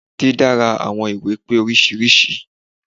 Dídára àwọn ìwé pé oríṣiríṣi.